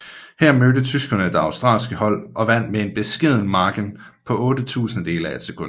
Her mødte tyskerne det australske hold og vandt med en beskeden margen på otte tusindedele af et sekund